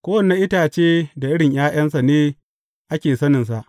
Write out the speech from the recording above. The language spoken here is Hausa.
Kowane itace da irin ’ya’yansa ne ake saninsa.